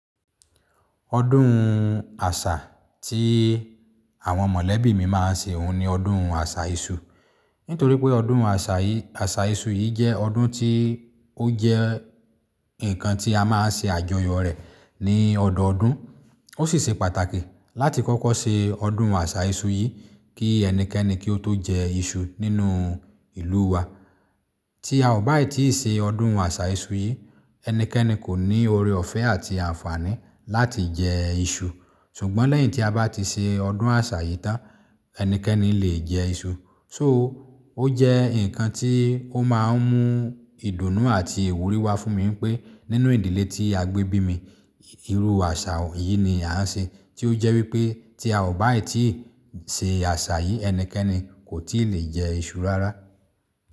Ọdún àṣà tí àwọn mọ̀lẹ́bí mi máa ń ṣe òun ni ọdún àṣà iṣu. Nítorí pé ọdún àṣà yìí, àṣà iṣu yìí jẹ́ ọdún tí ó jẹ́ nǹkan tí a máa ń ṣe àjọyọ̀ rẹ̀ ní ọdọọdún. Ó sì ṣe pàtàkì láti kọ́kọ́ ṣe ọdún àṣà iṣu yìí kí ẹnikẹ́ni kí ó tó jẹ iṣu nínú ìlú wa. Tí a ò bá tíì ṣe ọdún àṣà iṣu yìí, ẹnikẹ́ni kò ní oore-ọ̀fẹ́ àti àǹfààní láti jẹ iṣu. Ṣùgbọ́n lẹ́yìn tí a bá ti ṣe ọdún àṣà yìí tán, ẹnikẹ́ni lè jẹ iṣu. So, ó jẹ́ nǹkan tí ó máa ń mú ìdùnnú àti ìwúrí wá fún mi pé nínú ìdílé tí a gbé bí mi, irú àṣà yìí ni a ń ṣe tí ó jẹ́ wípé tí a ò bá tíì ṣe àṣà yìí, ẹnikẹ́ni kò tíì lè jẹ iṣu rárá.